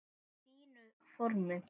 Í fínu formi.